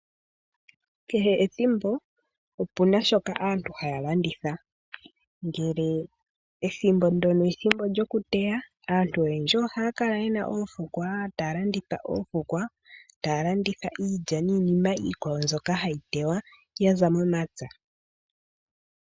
Kehe ethimbo opu na shoka aantu haya landitha. Ngele ethimbo ndyoka olyo ku teya aantu oyendji ohaya kala ye na oofukwa taya landitha. Ohaya landitha iilya niinima iikwawo mbyoka hayi teywa ya za momapya.